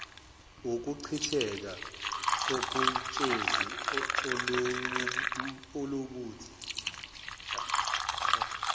wukuchitheka koketshezi oluwubuthi